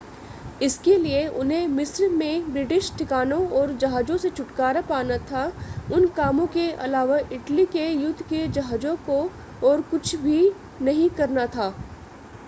इसके लिए उन्हें मिस्र में ब्रिटिश ठिकानों और जहाज़ों से छुटकारा पाना था उन कामों के अलावा इटली के युद्ध के जहाज़ों को और कुछ नहीं करना था